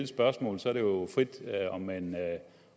spørgsmål og så er det jo frit om man